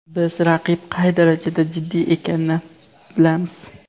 Biz raqib qay darajada jiddiy ekanini bilamiz.